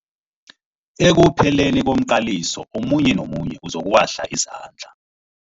Ekupheleni komqaliso omunye nomunye uzokuwahla izandla.